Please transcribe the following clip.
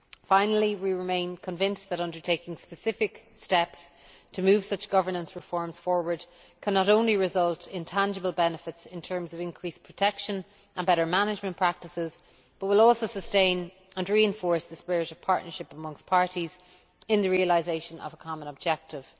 Finally, we remain convinced that undertaking specific steps to move such governance reforms forward will not only result in tangible benefits in terms of increased protection and better management practices, but will also sustain and reinforce the spirit of partnership amongst parties, in the realisation of a common objective.